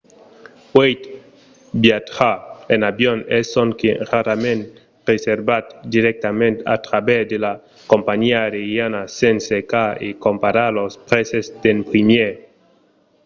uèi viatjar en avion es sonque rarament reservat dirèctament a travèrs de la companhiá aeriana sens cercar e comparar los prèses d'en primièr